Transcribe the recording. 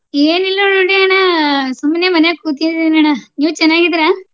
ಏನಿಲ್ಲಾ ನೋಡಿ ಅಣ್ಣಾ ಅ ಸುಮ್ನೆ ಮನ್ಯಾಗ್ ಕೂತಿದೀನಿ ಅಣ್ಣಾ. ನೀವ್ ಚೆನ್ನಾಗಿದೀರಾ?